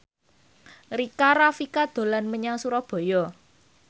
Rika Rafika dolan menyang Surabaya